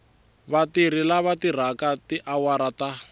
vatirhi lava tirhaka tiawara ta